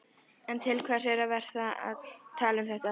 En til hvers er að vera að tala um þetta?